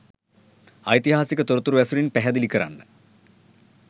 ඓතිහාසික තොරතුරු ඇසුරෙන් පැහැදිලි කරන්න.